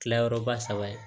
Tilayɔrɔba saba ye